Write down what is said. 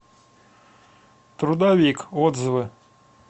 трудовик отзывы